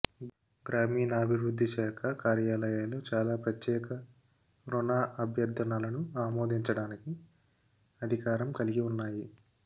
గ్రామీణాభివృద్ధి శాఖ కార్యాలయాలు చాలా ప్రత్యక్ష రుణ అభ్యర్థనలను ఆమోదించడానికి అధికారం కలిగి ఉన్నాయి